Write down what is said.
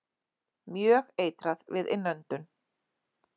Mjög eitrað við innöndun.